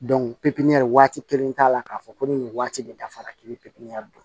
waati kelen t'a la k'a fɔ ko ni nin waati de dafara k'i bi pipiniyɛri la